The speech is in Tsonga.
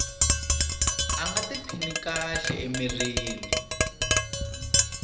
a nga tiphini kahle emirini